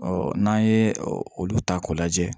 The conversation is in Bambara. n'an ye olu ta k'o lajɛ